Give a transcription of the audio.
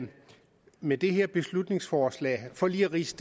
med det her beslutningsforslag for lige at ridse